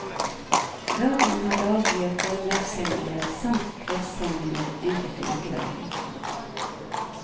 Radioen har daglige formiddagssendinger, samt kveldssendinger enkelte ukedager.